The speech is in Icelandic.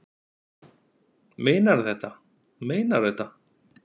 Meinarðu þetta, meinarðu þetta.